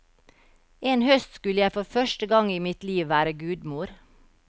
En høst skulle jeg for første gang i mitt liv være gudmor.